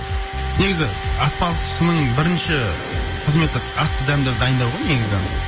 негізі аспазшының бірінші қызметі асты дәмдеп дайындау ғой негізі